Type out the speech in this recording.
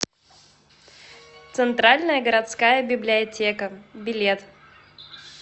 центральная городская библиотека билет